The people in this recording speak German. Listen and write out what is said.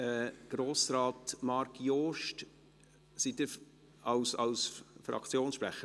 Grossrat Marc Jost, sind Sie Fraktionssprecher?